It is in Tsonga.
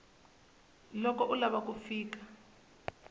loko u lava ku fika